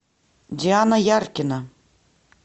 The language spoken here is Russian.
диана яркина